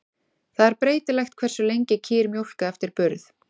Það er breytilegt hversu lengi kýr mjólka eftir burð.